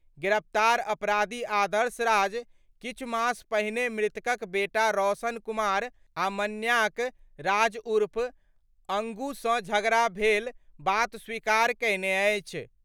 गिरफ्तार अपराधी आदर्श राज किछु मास पहिने मृतकक बेटा रौनक कुमार आ मन्याक राज उर्फ अंगू सं झगड़ा भेल बात स्वीकार कयने अछि।